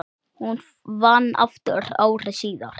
Hún vann aftur ári síðar.